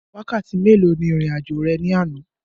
Wákàtí mélòó ni ìrìn àjò rẹ ní àná?